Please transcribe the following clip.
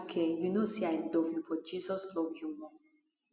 aduke you know say i love you but jesus love you more